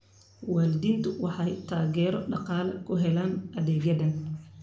Waalidiintu waxay taageero dhaqaale ku helaan adeegyadan.